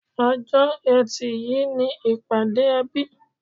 Ọjọ̀ Ẹtì yìí ni ìpàdé ẹbí